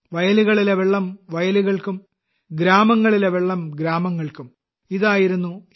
വയലുകളിലെ വെള്ളം വയലുകൾക്കും ഗ്രാമങ്ങളിലെ വെള്ളം ഗ്രാമങ്ങൾക്കും ഇതായിരുന്നു ശ്രീ